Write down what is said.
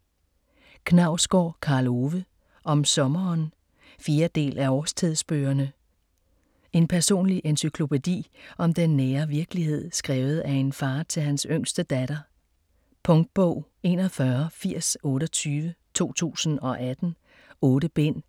Knausgård, Karl Ove: Om sommeren 4. del af Årstidsbøgerne. En personlig encyklopædi om den nære virkelighed, skrevet af en far til hans yngste datter. Punktbog 418028 2018. 8 bind.